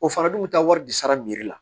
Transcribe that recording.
O fana dun bɛ taa wari di sara la